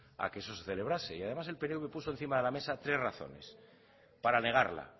a que eso se celebrase y además el pnv puso encima de la mesa tres razones para negarla